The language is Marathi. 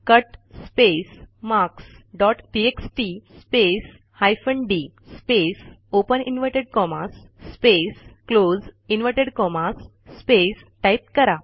cut space marks dot TXT space hyphen D space open inverted commas space close inverted commas space type करा